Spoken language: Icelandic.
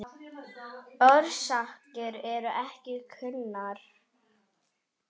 Orsakir eru ekki kunnar.